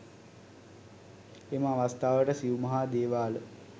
එම අවස්ථාවට සිව් මහා දේවාල